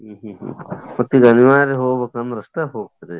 ಹ್ಮ್ ಹ್ಮ್ ಮತ್ತಿದ್ ಅನಿವಾರ್ಯ ಹೋಗ್ಬೇಕಂದ್ರ ಅಷ್ಟೇ ಹೋಗ್ತ್ರಿ?